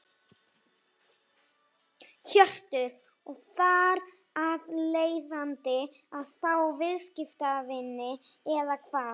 Hjörtur: Og þar af leiðandi að fá viðskiptavini eða hvað?